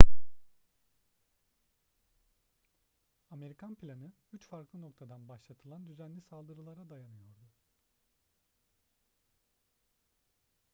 amerikan planı üç farklı noktadan başlatılan düzenli saldırılara dayanıyordu